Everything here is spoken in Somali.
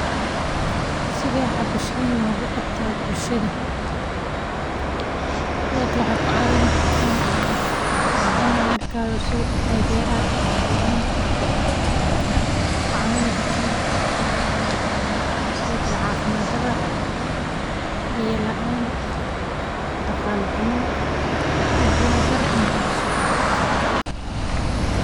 Side howshan looga qabtaa bulshada waxad ku caawini kartaa sido kale biya laan cafimaad dara iyo dadaal dara inaay hayso.